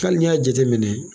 n'i y'a jate minɛ.